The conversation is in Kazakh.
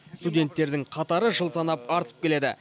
студенттердің қатары жыл санап артып келеді